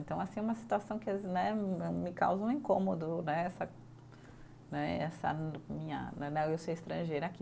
Então, assim, é uma situação que né, me causa um incômodo né, essa né, essa minha né, eu ser estrangeira aqui.